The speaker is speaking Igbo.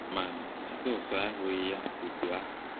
Ma, Jizọs ahụghị ya otu ahụ.